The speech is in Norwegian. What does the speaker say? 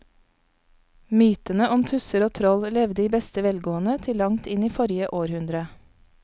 Mytene om tusser og troll levde i beste velgående til langt inn i forrige århundre.